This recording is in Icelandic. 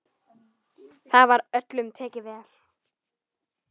Þar var öllum tekið vel.